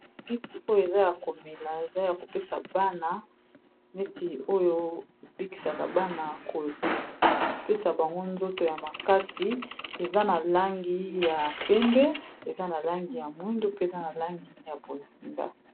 Kisi oyo eza ya komela eza ya kopesa bana neti oyo ebikisaka bana kopesa bango nzoto ya makasi eza na langi ya pembe, eza na langi ya mwindu, pe eza na langi ya bozinga.